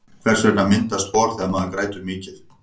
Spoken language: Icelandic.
hvers vegna myndast hor þegar maður grætur mikið